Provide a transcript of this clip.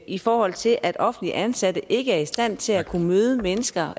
i forhold til at offentligt ansatte ikke er i stand til at kunne møde mennesker